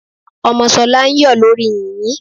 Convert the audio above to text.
Ọmọ Ṣọlá ń yọ̀ lórí yìnyín.